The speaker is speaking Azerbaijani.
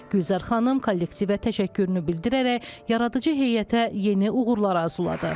Gülzar xanım kollektivə təşəkkürünü bildirərək yaradıcı heyətə yeni uğurlar arzuladı.